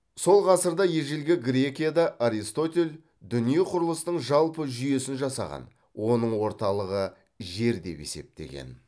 сол ғасырда ежелгі грекияда аристотель дүние құрылысының жалпы жүйесін жасаған оның орталығы жер деп есептеген